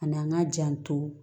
A n'an ka janto